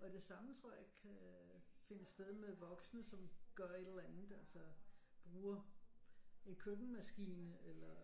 Og det samme tror jeg kan finde sted med voksne som gør et eller andet altså bruger en køkkenmaskiner eller